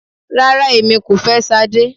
Rárá, èmi kò fẹ́ Sade.